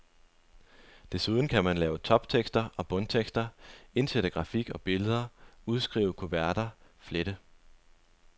Desuden kan man lave toptekster og bundtekster, indsætte grafik og billeder, udskrive kuverter, flette.